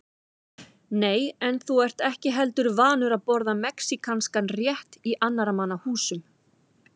Nei, en þú ert ekki heldur vanur að borða mexíkanskan rétt í annarra manna húsum